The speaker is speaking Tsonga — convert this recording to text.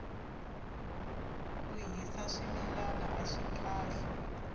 ku hisa swimilana aswi kahle